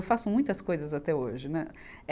faço muitas coisas até hoje, né.